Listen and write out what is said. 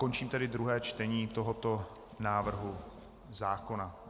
Končím tedy druhé čtení tohoto návrhu zákona.